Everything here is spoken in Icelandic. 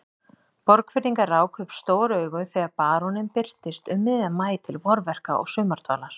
Borgfirðingar ráku upp stór augu þegar baróninn birtist um miðjan maí til vorverka og sumardvalar.